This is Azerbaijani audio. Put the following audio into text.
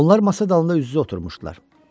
Onlar masa dalında üz-üzə oturmuşdular.